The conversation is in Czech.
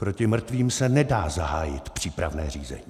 Proti mrtvým se nedá zahájit přípravné řízení.